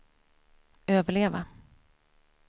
överleva